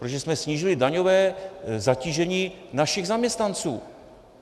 Protože jsme snížili daňové zatížení našich zaměstnanců.